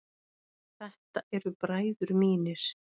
Þetta eru bræður mínir.